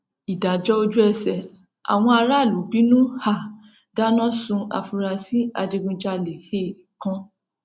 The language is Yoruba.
ìdájọ ojúẹsẹ àwọn aráàlú bínú um dáná sun àfúráṣí adigunjalè um kan